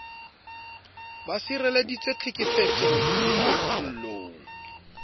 ba sireleditswe tlhekefetsong le tlontlollong